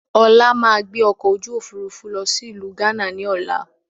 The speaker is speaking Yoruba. Ọlá máa gbé ọkọ̀ ojú Òfurufú lọ sí ìlú gánà ni ọ̀la